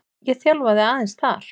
Ég þjálfaði aðeins þar.